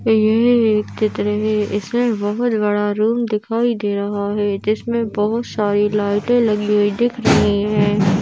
यह एक चित्र है इसमें बहुत बड़ा रूम दिखाई दे रहा है जिसमें बहोत सारी लाइटे लगी हुई दिख रही है।